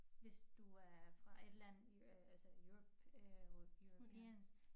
Hvis du er fra et land i altså i Europe øh European